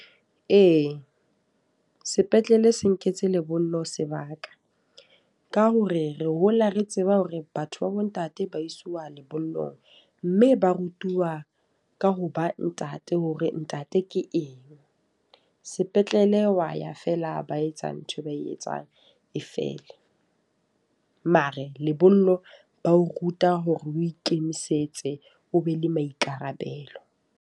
Ee, sepetlele se nketse lebollo sebaka. Ka hore re hola re tseba hore batho ba bo ntate ba isiwa lebollong. Mme ba rutuwa ka hoba ntate hore ntate ke eng. Sepetlele wa ya feela, ba etsa ntho e ba e etsang e fele. Mare lebollo ba o ruta hore o ikemisetse o be le maikarabelo.